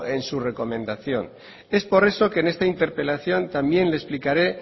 en su recomendación es por eso que en esta interpelación también le explicaré